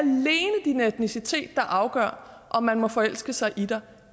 din etnicitet der afgør om man må forelske sig i dig